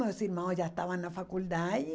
Meus irmãos já estavam na faculdade.